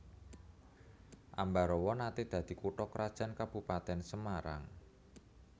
Ambarawa naté dadi kutha krajan Kabupatèn Semarang